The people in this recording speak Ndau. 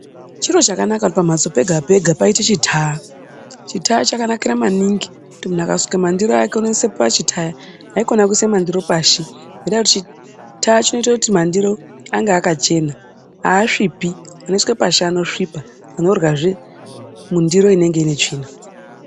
Chieo chakanaka kuti pamhatso pega-pega paite chitaya. Chitaya chakanakira maningi kuti muntu akasuke mandiro ake unoise pachitaya. Haikona kuise mandiro pashi. Chitara chinoite kuti mandiro ange akachena, haasvipi. Anoiswe pashi anosvipa. Munoryazve mundiro inenge ine tsvina.